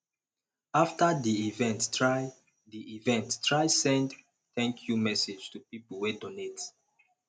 after di event try di event try send thank you message to pipo wey donate